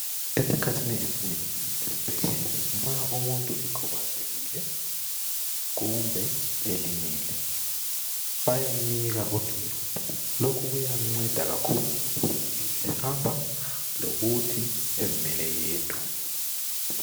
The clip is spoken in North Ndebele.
Esikhathini esinengi esibhedlela nxa umuntu bekhubazekile kumbe elimele bayamnika udondolo lokhu kuyamnceda kakhulu ukuthi ebe ehamba kumbe ezimele yedwa.